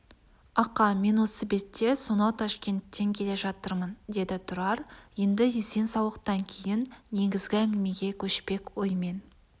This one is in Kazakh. ақа мен осы бетте сонау ташкенттен келе жатырмын деді тұрар енді есен-саулықтан кейін негізгі әңгімеге көшпек оймен